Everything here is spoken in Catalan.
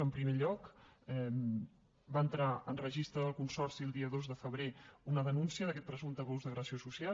en primer lloc va entrar en registre del consorci el dia dos de febrer una denúncia d’aquest presumpte abús d’agressió social